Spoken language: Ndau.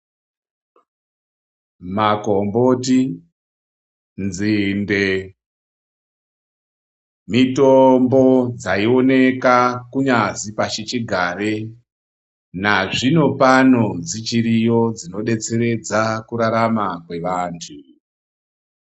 Makomboti, nzinde mutombo dzaioneka kunyazi pashichigare, nazvino pano dzichiriyo dzinodetseredza kurarama kweantu.